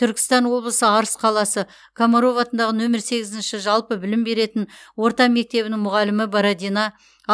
түркістан облысы арыс қаласы комаров атындағы нөмір сегізінші жалпы білім беретін орта мектебінің мұғалімі бородина